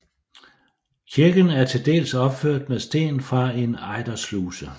Kirken er til dels opført af sten fra en ejdersluse